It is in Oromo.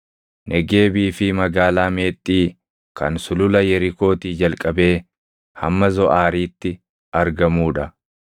Negeebii fi Magaalaa Meexxii kan sulula Yerikootii jalqabee hamma Zoʼaariitti argamuu dha.